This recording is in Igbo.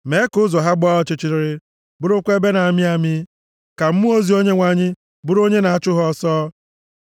Mee ka ụzọ ha gbaa ọchịchịrị, bụrụkwa ebe na-amị amị; ka mmụọ ozi Onyenwe anyị bụrụ onye na-achụ ha ọsọ.